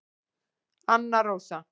Anna Rósa